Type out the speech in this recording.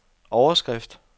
overskrift